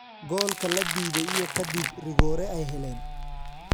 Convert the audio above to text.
Goolka la diiday iyo kadib rigoore ay heleen.